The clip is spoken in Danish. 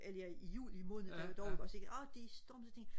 eller i juli måned dog ikke også ikke og det stormede så tænkte jeg